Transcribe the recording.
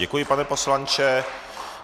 Děkuji, pane poslanče.